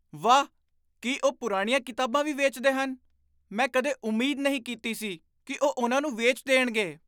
ਵਾਹ! ਕੀ ਉਹ ਪੁਰਾਣੀਆਂ ਕਿਤਾਬਾਂ ਵੀ ਵੇਚਦੇ ਹਨ? ਮੈਂ ਕਦੇ ਉਮੀਦ ਨਹੀਂ ਕੀਤੀ ਸੀ ਕਿ ਉਹ ਉਨ੍ਹਾਂ ਨੂੰ ਵੇਚ ਦੇਣਗੇ।